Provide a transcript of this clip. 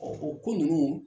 Ɔ o ko nunnu